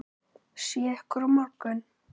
Sé ykkur á morgun.